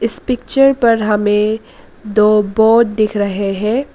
इस पिक्चर पर हमें दो बोट दिख रहे हैं।